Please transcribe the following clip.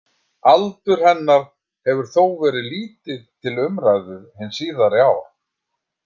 Aldur hennar hefur þó verið lítið til umræðu hin síðari ár.